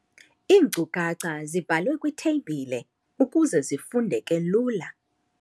Iinkcukacha zibhalwe kwitheyibhile ukuze zifundeke lula.